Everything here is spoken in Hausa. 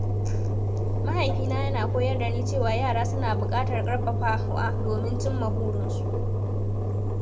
Mahaifina yana koyar da ni cewa yara suna buƙatar ƙarfafawa domin cimma burinsu.